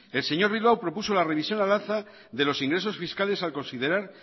el señor bilbao propuso la revisión al alza de los ingresos fiscales al considerar